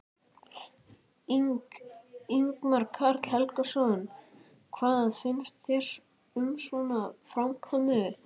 Ingimar Karl Helgason: Hvað finnst þér um svona framkomu?